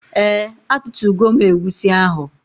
Ee atụtugo m egwusi ahụ.